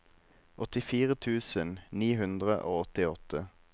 åttifire tusen ni hundre og åttiåtte